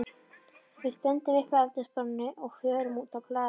Við stöndum upp frá eldhúsborðinu og förum út á hlað.